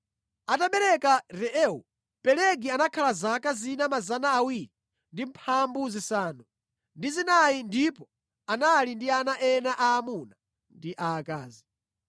Atabereka Reu, Pelegi anakhala zaka zina 209 ndipo anali ndi ana ena aamuna ndi aakazi.